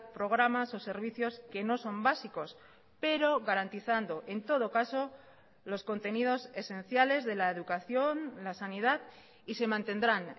programas o servicios que no son básicos pero garantizando en todo caso los contenidos esenciales de la educación la sanidad y se mantendrán